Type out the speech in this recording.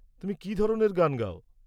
তুমি কি ধরনের গান গাও?